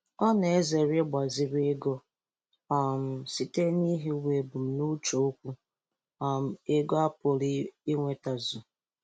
Ọ na-ezere igbaziri ego um site n'ihiwaebumnuche okwu um ego a pụrụ inwetazu.